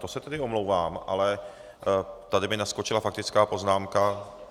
To se tedy omlouvám, ale tady mi naskočila faktická poznámka.